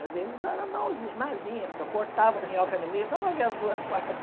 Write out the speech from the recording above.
Às vezes eu era malzin mázinha, porque eu cortava a minhoca no meio só para ver as duas partes.